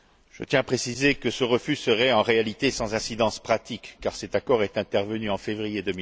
Je tiens à préciser que ce refus serait, en réalité, sans incidence pratique, car cet accord est intervenu en février